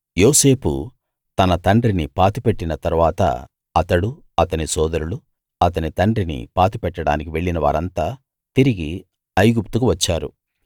యోసేపు తన తండ్రిని పాతిపెట్టిన తరువాత అతడు అతని సోదరులు అతని తండ్రిని పాతిపెట్టడానికి వెళ్ళిన వారంతా తిరిగి ఐగుప్తుకు వచ్చారు